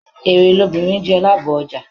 Èrè lobìnrin jẹ lábọ ọjà